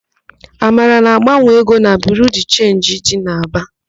Amara na-agbanwe ego na Biriu de Chenji dị n'Aba.